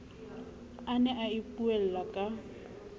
a ne a ipuella ka